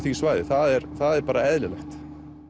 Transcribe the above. því svæði það er það er bara eðlilegt